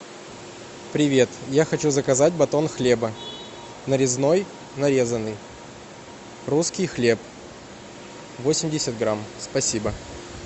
привет я хочу заказать батон хлеба нарезной нарезанный русский хлеб восемьдесят грамм спасибо